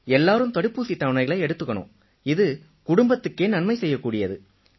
எல்லாரும் தடுப்பூசித் தவணைகளை எடுத்துக்கணும் இது குடும்பத்துக்கே நன்மை செய்யக்கூடியது